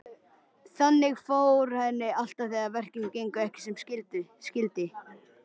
Þannig fór henni alltaf þegar verkin gengu ekki sem skyldi.